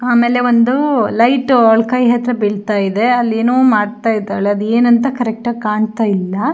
ಆಮೇಲೆ ಒಂದು ಲೈಟ್ ಅವಳ ಕೈ ಹತ್ರ ಬೀಳ್ತಾ ಇದೆ ಅಲ್ಲೇನೋ ಮಾಡ್ತಾ ಇದ್ದಾಳೆ ಅದು ಏನು ಅಂತ ಕರೆಕ್ಟ್ ಆಗಿ ಕಾಣ್ತಾ ಇಲ್ಲ.